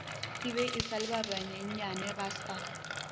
ebe esa le ba banyenyanebasa